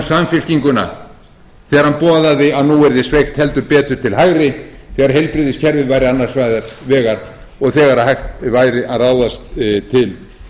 samfylkinguna þegar hann boðaði að nú yrði sveigt heldur betur til hægri þegar heilbrigðiskerfið væri annars vegar og þegar hægt væri að ráðast til